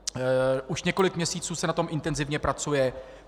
Už několik měsíců se na tom intenzivně pracuje.